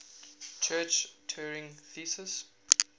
church turing thesis